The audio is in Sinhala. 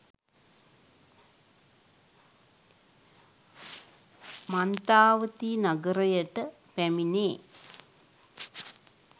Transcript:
මන්තාවතී නගරයට පැමිණේ